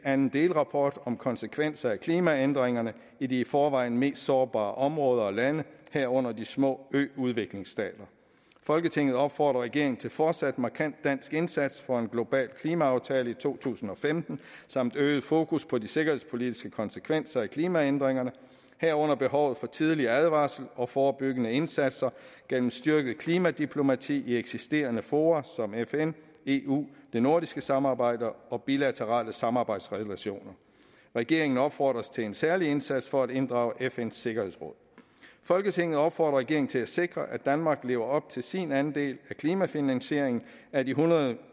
anden delrapport om konsekvenser af klimaændringerne i de i forvejen mest sårbare områder og lande herunder de små øudviklingsstater folketinget opfordrer regeringen til fortsat markant dansk indsats for en global klimaaftale i to tusind og femten samt øget fokus på de sikkerhedspolitiske konsekvenser af klimaændringerne herunder behovet for tidlig advarsel og forebyggende indsatser gennem styrket klimadiplomati i eksisterende fora som fn eu det nordiske samarbejde og bilaterale samarbejdsrelationer regeringen opfordres til en særlig indsats for at inddrage fn’s sikkerhedsråd folketinget opfordrer regeringen til at sikre at danmark lever op til sin andel af klimafinansieringen af de hundrede